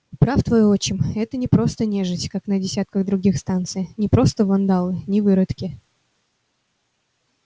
прав твой отчим это не просто нежить как на десятках других станций не просто вандалы не выродки